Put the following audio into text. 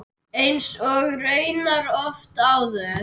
Eins og raunar oft áður.